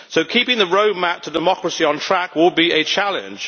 So keeping the roadmap to democracy on track will be a challenge.